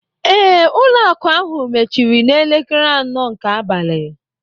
Ee, ụlọ akụ ahụ mechiri n'elekere anọ nke abalị